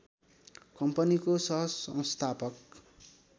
कम्पनीको सहसंस्थापक